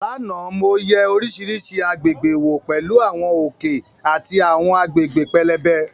Lánàá, mo yẹ oríṣiríṣi àgbègbè wò pẹ̀lú àwọn òkè àti àwọn agbègbè pẹlẹbẹ.